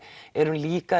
erum líka